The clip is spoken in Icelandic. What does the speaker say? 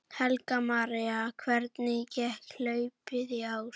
Helga María: Hvernig gekk hlaupið í ár?